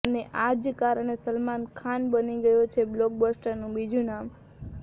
અને આ જ કારણે સલમાન ખાન બની ગયો છે બોલ્કબસ્ટરનું બીજું નામ